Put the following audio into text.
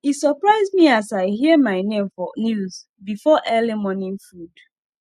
e surprise me as i hear my name for news befor early morning food